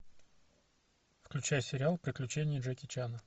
включай сериал приключения джеки чана